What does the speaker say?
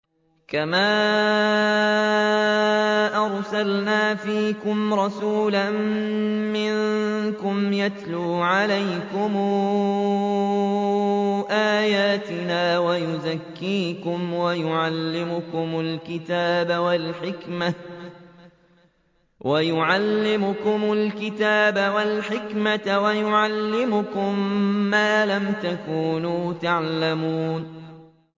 كَمَا أَرْسَلْنَا فِيكُمْ رَسُولًا مِّنكُمْ يَتْلُو عَلَيْكُمْ آيَاتِنَا وَيُزَكِّيكُمْ وَيُعَلِّمُكُمُ الْكِتَابَ وَالْحِكْمَةَ وَيُعَلِّمُكُم مَّا لَمْ تَكُونُوا تَعْلَمُونَ